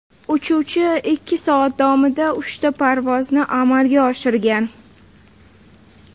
Uchuvchi ikki soat davomida uchta parvozni amalga oshirgan.